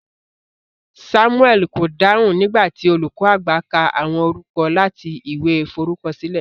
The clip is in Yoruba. Samuel ko dáhùn nigba ti olùkọ àgbà ka àwọn orúkọ láti ìwé f'orukọsile.